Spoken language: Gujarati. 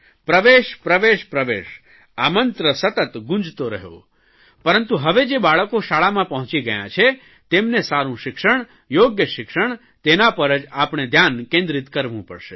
પ્રવેશ પ્રવેશ પ્રવેશ મંત્ર સતત ગુંજતો રહ્યો પરંતુ હવે જે બાળકો શાળામાં પહોંચી ગયાં છે તેમને સારૂં શિક્ષણ યોગ્ય શિક્ષણ તેના પર જ આપણે ધ્યાન કેન્દ્રિત કરવું પડશે